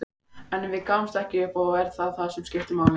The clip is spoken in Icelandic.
En við gáfumst ekki upp og það er það sem skiptir máli.